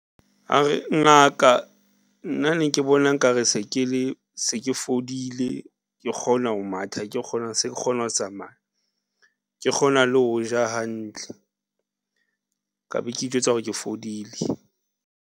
A re ngaka nna ne ke bona nkare se ke le, se ke fodile, ke kgona ho matha, ke kgona, se ke kgona ho tsamaya, ke kgona le ho ja hantle ka be ke itjwetsa hore ke fodile.